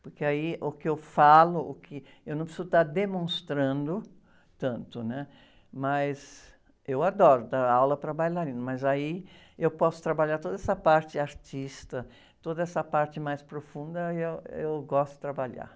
porque aí o que eu falo, o que, eu não preciso estar demonstrando tanto, né? Mas eu adoro dar aula para bailarinos, mas aí eu posso trabalhar toda essa parte artista, toda essa parte mais profunda, aí eu, eu gosto de trabalhar.